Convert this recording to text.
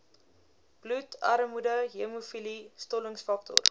bloedarmoede hemofilie stollingsfaktor